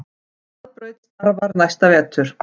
Hraðbraut starfar næsta vetur